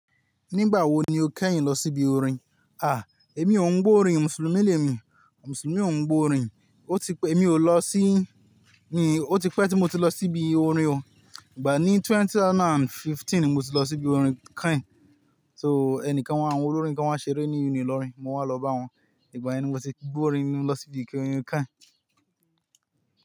Nígbà wo ni o kẹ́yìn lọ síbi orin? À, èmi ò ń gbọ́ orin, Mùsùlùmí lè mi, Mùsùlùmí ò ń gbọ́ orin. Ó ti pẹ́, èmi ò lọ sí-- ó ti pẹ́ tí mo ti lọ sí ibi orin o. Ìgbà ní 2015 ni mo ti lọ sí bi orin kẹ́yìn. So ẹnìkan wá ń, àwọn olórin kan wọ́n ṣeré ní Unilọrin, mo wá lọ bá wọn. Ìgbà yẹn ni mo ti gbọ́ orin ni mo lọ síbí orin kẹ́yìn.